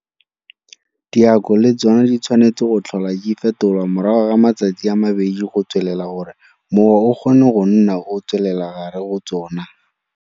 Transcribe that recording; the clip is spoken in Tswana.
Diako le tsona di tshwanetse go tlhola di fetolwa morago ga matsatsi a mabedi go tswelela gore mowa o kgone go nna o tswelela gare go tsona.